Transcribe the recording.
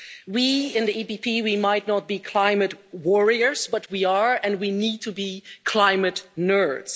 We in the EPP might not be climate warriors, but we are and we need to be climate nerds.